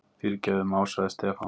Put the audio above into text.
Fyrirgefðu másaði Stefán.